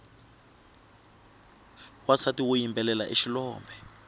wansati woyimbelela i xilombe